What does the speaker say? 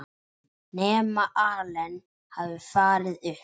Nema Allen hafi farið upp.